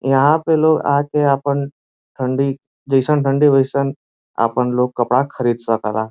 यहाँ पे लोग आके आपन ठंडी जइसन ठंडी ओईसन आपन लोग कपड़ा खरीद सकेला।